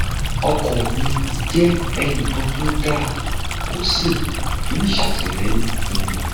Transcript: ọkọ mi jẹ ẹnìkan tó dáa ó sì ń ṣàtìlẹyìn fún mi